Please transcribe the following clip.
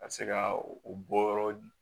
Ka se ka o bɔ yɔrɔ di